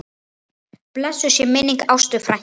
Blessuð sé minning Ástu frænku.